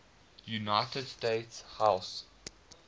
united states house